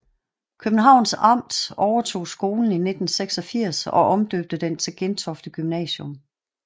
Københavns Amt overtog skolen i 1986 og omdøbte den til Gentofte Gymnasium